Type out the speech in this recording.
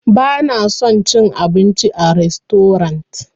Bana son cin abinci a rastorant.